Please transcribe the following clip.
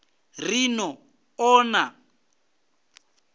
ri ni ḓo ḓa na